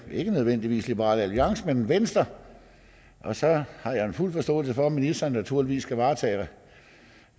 er ikke nødvendigvis liberal alliance men venstre og så har jeg fuld forståelse for at ministeren naturligvis skal varetage